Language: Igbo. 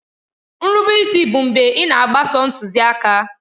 Nrube isi bụ mgbe ị na-agbaso ntuziaka.